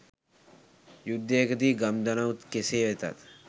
යුද්ධයකදී ගම් දනව් කෙසේ වෙතත්